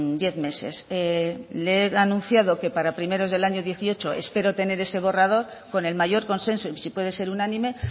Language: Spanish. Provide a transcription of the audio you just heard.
diez meses le he anunciado que para primeros del año dieciocho espero tener ese borrador con el mayor consenso y si puede ser unánime